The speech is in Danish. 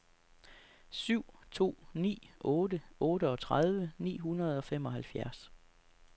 syv to ni otte otteogtredive ni hundrede og femoghalvfjerds